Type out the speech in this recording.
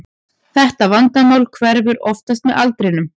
Þetta vandamál hverfur oftast með aldrinum.